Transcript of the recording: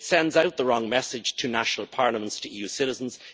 It sends out the wrong message to national parliaments, to EU citizens.